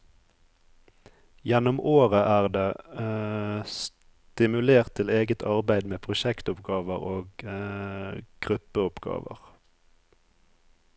Gjennom året er det stimulert til eget arbeid med prosjektoppgaver og gruppeoppgaver.